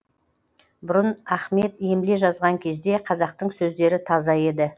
бұрын ахмет емле жазған кезде қазақтың сөздері таза еді